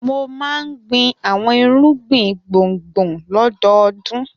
Mo máa ń gbin àwọn irúgbìn gbùngbùn lọ́dọọdún.